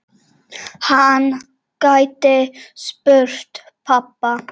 Hann gæti spurt pabba.